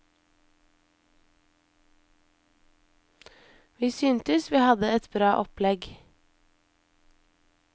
Vi syntes vi hadde et bra opplegg.